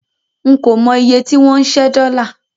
N kò mọ iye tí wọ́n ń ṣẹ́ dọ́là.